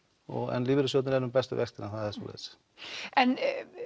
en lífeyrissjóðirnir eru með bestu vextina það er svoleiðis en